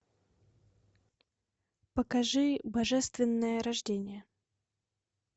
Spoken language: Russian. покажи божественное рождение